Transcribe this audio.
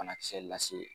Banakisɛ lase